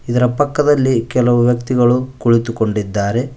ಇದರ ಪಕ್ಕದಲ್ಲಿ ಕೆಲವು ವ್ಯಕ್ತಿಗಳು ಕುಳಿತುಕೊಂಡಿದ್ದಾರೆ.